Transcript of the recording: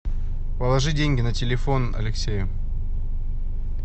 положи деньги на телефон алексею